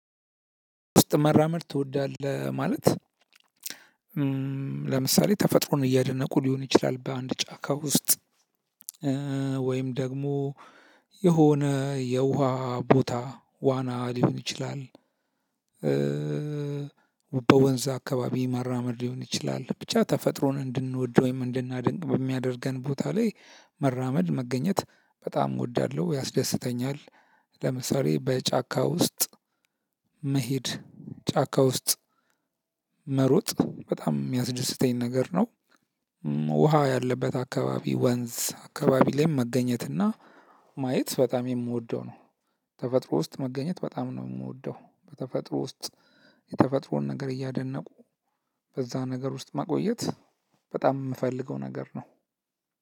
ውስጥ መራመድ ትወዳለህ? ማለት ለምሳሌ ተፈጥሮን እያደነቁ ሊሆን ይችላል በአንድ ጫካ ውስጥ ወይም ደግሞ የሆነ የውሃ ቦታ ዋና ሊሆን ይችላል። በወንዝ አካባቢ መራመድ ሊሆን ይችላል ብቻ ተፈጥሮን እንድንወድ ወይም እንድናደንቅ በሚያደርገን ቦታ ላይ መራመድ መገኘት በጣም እወዳለሁ ያስደስተኛል። ለምሳሌ በጫካ ውስጥ መሄድ ጫካ ውስጥ መሮጥ በጣም የሚያስደስተኝ ነገር ነው። ውሃ ያለበት አካባቢ ወንዝ አካባቢ ላይ መገኘት እና ማየት በጣም የምወደው ነው። ተፈጥሮ ውስጥ መገኘት በጣም ነው የምወደው በተፈጥሮ ውስጥ የተፈጥሮን ነገር እያደነቁ በዛ ነገር ውስጥ ማቆየት በጣም የምፈልገው ነገር ነው።